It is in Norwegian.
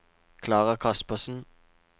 Klara Kaspersen